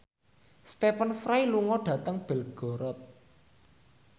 Stephen Fry lunga dhateng Belgorod